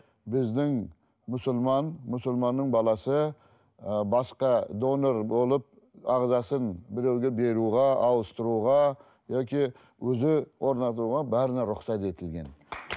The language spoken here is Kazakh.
біздің мұсылман мұсылманның баласы ы басқа донор болып ағзасын біреуге беруге ауыстыруға яки өзі орнатуға бәріне рұқсат етілген